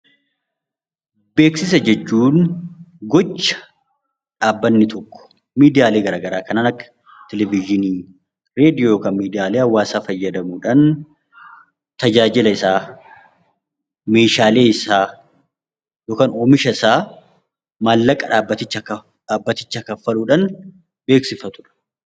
Beeksisa jechuun gocha dhaabbanni tokko miidiyaawwan garaagaraa kanneen akka televizyiinii, raadiyoo miidiyaa hawaasaa fayyadamuudhaan tajaajila isaa, Meeshaalee isaa yookaan oomisha isaa maallaqa dhaabbatichaa kaffaluudhaan beeksifatudha.